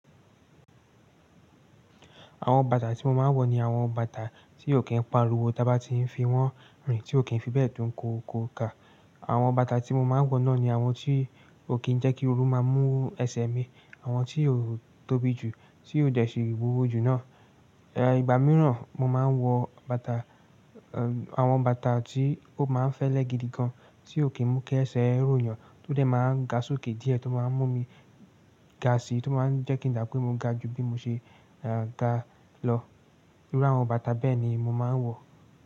Àwọn bàtà tí mo máa ń wọ̀ ni àwọn bàtà tí ò kí n pariwo tá bá ti n fi wọ̀n rìn, tí ò kí n fi bẹ́ẹ̀ dùn kóko ka. Àwọn bàtà tí mo máa ń wọ̀ náà ni àwọn tí ò kí ń jẹ́ kí ooru máa mú ẹsẹ mi, àwọn tí kò tóbi jù, tí ò jẹ́ sì wíwo jù náà. Ẹ ìgbà mìíràn, mo máa ń wọ bàtà, ẹ àwọn bàtà tí ó máa ń fẹ́lẹ́ gidi gan, tí ò kí ń mú kí ẹsẹ rò yàn, tó dé máa ń ga sókè díẹ̀, tó máa ń mú mi ga si, tó máa ń jẹ́ kí n dà pé mo ga jù bí mo ṣe ẹ ga lọ. Iru àwọn bàtà bẹ́ẹ̀ ni mo máa ń wọ̀